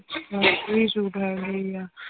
suit ਹੈਗੇ ਹੀ ਆ